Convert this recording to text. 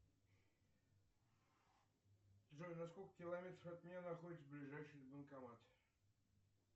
джой на сколько километров от меня находится ближайший банкомат